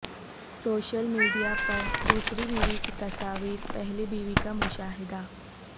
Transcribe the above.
social media پر دوسری بیوی کی تصاویر پہلی بیوی کا مشاہدہ